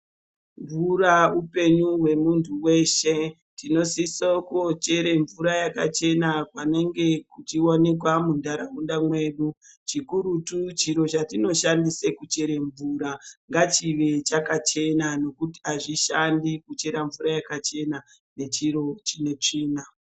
Mvura hupenyu hwemuntu weshe tinosisa kuchera mvura yakachena panenge pachionekwa mundaraunda medu chikurutu chiro chatinoshandisa kuchera mvura ngachive chakachena ngekuti azvishandi kuchera mvura yakachena nechiro chine tsvina.